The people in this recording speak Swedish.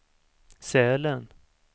Sälen